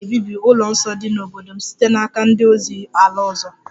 A ga-ebibi ụlọ nsọ dị n'obodo m site n'aka ndị ozi ala ọzọ